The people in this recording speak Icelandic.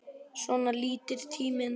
Svona líður tíminn.